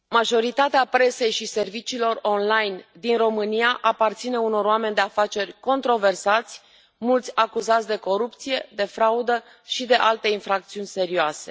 Doamnă președintă, majoritatea presei și serviciilor online din România aparține unor oameni de afaceri controversați, mulți acuzați de corupție, de fraudă și de alte infracțiuni serioase.